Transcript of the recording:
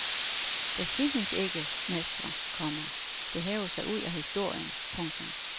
Der findes ikke mestre, komma der hæver sig ud af historien. punktum